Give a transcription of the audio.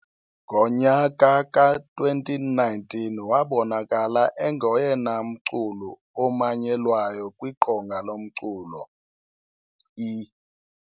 Ngonyaka ka 2019 wabonakala engoyena mculu omanyelwayo kwiqonga lomculo I-.